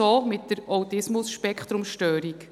So ist es auch mit der ASS.